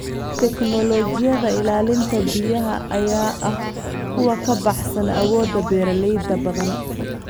Tignoolajiyada ilaalinta biyaha ayaa ah kuwa ka baxsan awoodda beeralayda badan.